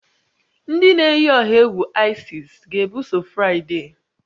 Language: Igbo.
Ndị na-eyi ọha egwu Isis ga-ebuso Fraịde?